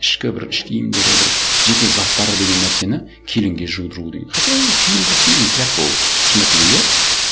ішкі бір іш киімдері бір жеке заттары деген нәрсені келінге жудыру деген хотя ол киім как киім тряпка ол шындап келгенде иә